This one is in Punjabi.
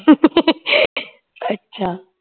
ਅੱਛਾ